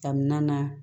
Kamina